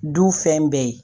Du fɛn bɛɛ ye